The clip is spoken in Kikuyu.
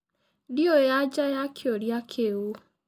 Ndĩũĩ anja ya kĩũrĩa kĩũ.